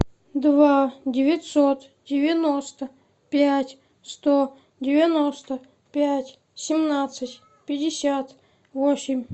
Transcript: два девятьсот девяносто пять сто девяносто пять семнадцать пятьдесят восемь